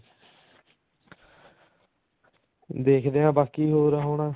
ਦੇਖਦੇ ਹਾਂ ਬਾਕੀ ਹੋਰ ਹੁਣ